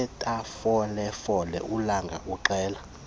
sasethafalofefe ulanga uxela